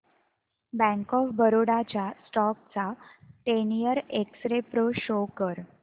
bank of Baroda च्या stock चा ten year x-ray pro show कर